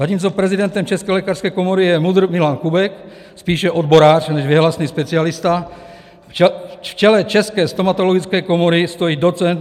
Zatímco prezidentem České lékařské komory je MUDr. Milan Kubek, spíše odborář než věhlasný specialista, v čele České stomatologické komory stojí doc.